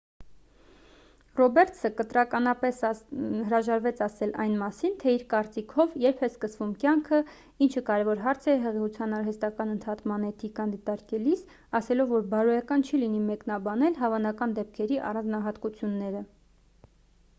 ռոբերտսը կտրականապես հրաժարվեց ասել այն մասին թե իր կարծիքով երբ է սկսվում կյանքը ինչը կարևոր հարց է հղիության արհեստական ընդհատման էթիկան դիտարկելիս ` ասելով որ բարոյական չի լինի մեկնաբանել հավանական դեպքերի առանձնահատկությունները: